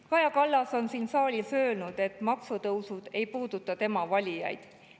Kaja Kallas on siin saalis öelnud, et maksutõusud ei puuduta tema valijaid.